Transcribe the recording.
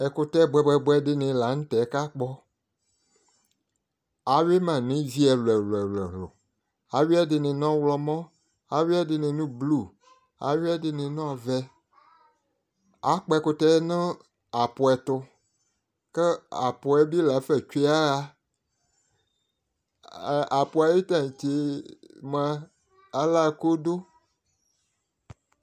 ɛkotɛ boɛ boɛ boɛ di ni lantɛ ko akpɔ awi ma no ivi ɛlo ɛlo ɛlo awi ɛdini no ɔwlɔmɔ awi ɛdini no blu awi ɛdini no ɔvɛ akpɔ ɛkotɛ no aƒu ɛto ko aƒuɛ lafa tsue ya ɣa aƒuɛ ayi tantse moa ala ko do